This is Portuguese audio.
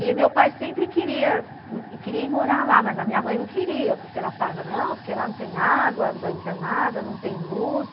E meu pai sempre queria ir morar lá, mas a minha mãe não queria, porque ela falava, não, porque lá não tem água, não tem nada, não tem luz.